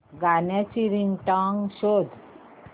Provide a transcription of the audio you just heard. गाण्याची रिंगटोन शोध